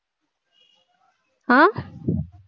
ஆஹ்